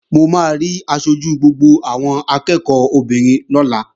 Mo máa rí aṣojú gbogbo àwọn akẹ́ẹ̀kọ́ obìnrin lọ́la